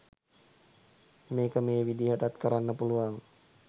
මේක මේ විදිහටත් කරන්න පුළුවන්